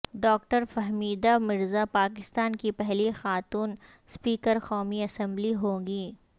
doctor Fahmida Mirza Pakistan کی پہلی خاتون سپیکر قومی اسمبلی ہوں گی